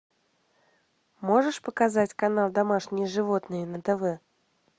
можешь показать канал домашние животные на тв